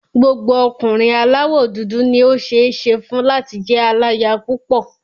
Gbogbo ọkùnrin aláwọ̀ dúdú ni ó ṣeé ṣe fún láti jẹ́ aláya púpọ̀.